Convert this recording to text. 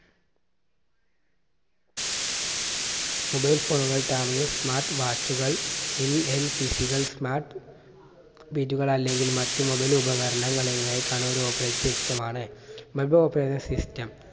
mobile phone കൾ tablet smart watch കൾ PC കൾ smart beat കൾ അല്ലെങ്കിൽ മറ്റു mobile ഉപകരണങ്ങളെക്കാളും ഒരു operate system മാണ് operation system